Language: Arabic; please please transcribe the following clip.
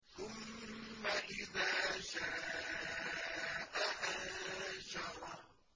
ثُمَّ إِذَا شَاءَ أَنشَرَهُ